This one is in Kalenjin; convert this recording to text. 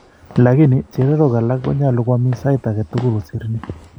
Lakini chererok alak konyolu koamis saiit agetul kosir ni